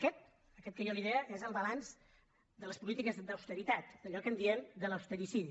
aquest aquest que jo li deia és el balanç de les polítiques d’austeritat allò que en diem de l’austericidi